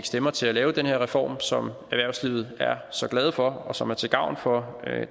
stemmer til at lave den her reform som erhvervslivet er så glade for og som er til gavn for